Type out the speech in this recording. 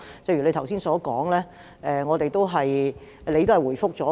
正如你剛才所說，你已經作出回覆。